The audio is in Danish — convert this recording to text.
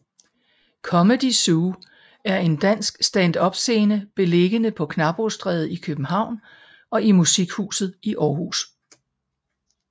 Comedy Zoo er en dansk standupscene beliggende på Knabrostræde i København og i Musikhuset i Aarhus